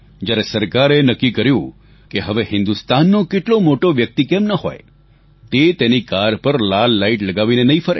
જ્યારે સરકારે એ નક્કી કર્યું કે હવે હિન્દુસ્તાનનો કેટલો મોટો વ્યક્તિ કેમ ન હોય તે તેની કાર પર લાલ લાઈટ લગાવીને નહીં ફરે